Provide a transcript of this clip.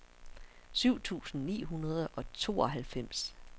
syv tusind ni hundrede og tooghalvfems